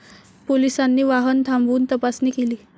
पोलिसांनी वाहन थांबवून तपासणी केली.